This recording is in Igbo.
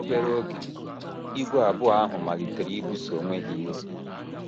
Obere oge, ìgwè abụọ ahụ malitere ibuso onwe ha iro.